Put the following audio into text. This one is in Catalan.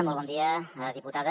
molt bon dia diputada